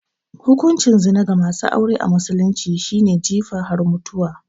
Hukuncin zina ga masu aure a musulunci shi ne jifa har mutuwa